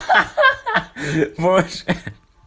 ха-ха боже